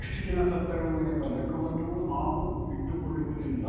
ಎಷ್ಟುಜನ ಸತ್ತರು ಎಂಬ ಲೆಕ್ಕವನ್ನು ನಾವು ಇಟ್ಟುಕೊಳ್ಳುವುದಿಲ್ಲ